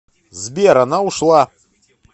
сбер она ушла